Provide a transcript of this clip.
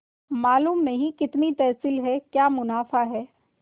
मालूम नहीं कितनी तहसील है क्या मुनाफा है